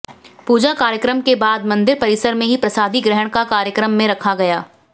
पूजा कार्यक्रम के बाद मंदिर परिसर में ही प्रसादी ग्रहण का कार्यक्रम में रखा गया